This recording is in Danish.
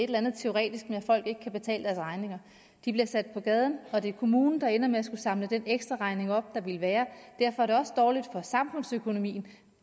eller andet teoretisk med at folk ikke kan betale deres regninger de bliver sat på gaden og det er kommunen der ender med at skulle samle den ekstraregning op der ville være derfor er det også dårligt for samfundsøkonomien